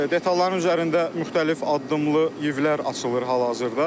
Detalların üzərində müxtəlif addımlı yivlər açılır hal-hazırda.